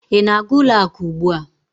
Ị na-aga ụlọ akụ ugbu a?